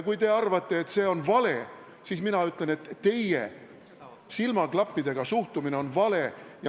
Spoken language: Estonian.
Kui te arvate, et see on vale, siis mina ütlen, et teie silmaklappidega suhtumine on vale.